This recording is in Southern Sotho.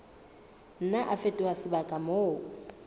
nna a fetoha sebaka moo